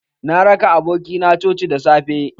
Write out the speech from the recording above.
Na raka aboki na coci da safe.